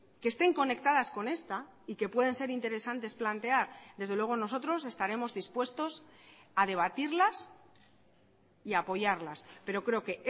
que estén conectadas con esta y que pueden ser interesantes plantear desde luego nosotros estaremos dispuestos a debatirlas y a apoyarlas pero creo que